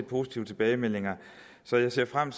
positive tilbagemeldinger så jeg ser frem